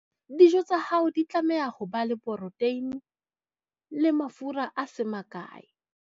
dijo tsa hao di tlameha ho ba le poroteine le mafura a se makae